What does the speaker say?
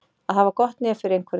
Að hafa gott nef fyrir einhverju